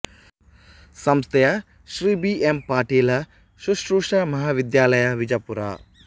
ಸಂಸ್ಥೆಯ Shri B M Patil ಶುಶ್ರೂಷಾ ಮಹಾವಿದ್ಯಾಲಯ ವಿಜಾಪೂರ